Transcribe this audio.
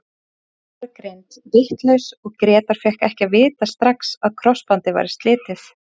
Meiðslin voru greind vitlaus og Grétar fékk ekki að vita strax að krossbandið væri slitið.